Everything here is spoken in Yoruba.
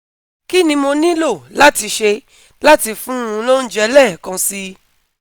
Kí ni mo nílò láti ṣe láti fún un lóúnjẹ lẹ́ẹ̀kan si?